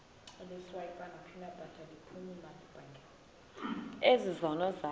ezi zono zakho